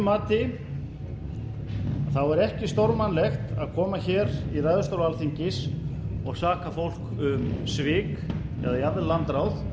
mati er ekki stórmannlegt að koma hér í ræðustól alþingis og saka fólk um svik eða jafnvel landráð